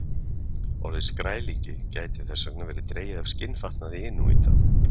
Orðið skrælingi gæti þess vegna verið dregið af skinnfatnaði inúíta.